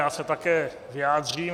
Já se také vyjádřím.